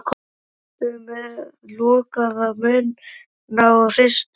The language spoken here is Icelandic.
Þeir sátu með lokaða munna og hristust.